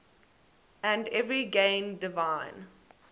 and every gain divine